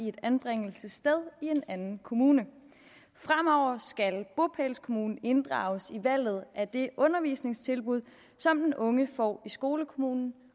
et anbringelsessted i en anden kommune fremover skal bopælskommunen inddrages i valget af det undervisningstilbud som den unge får i skolekommunen